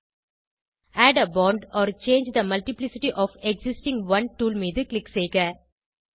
add a bond or change the multiplicity of existing one tool மீது click செய்க